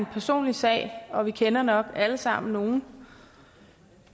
personlig sag og vi kender nok alle sammen nogen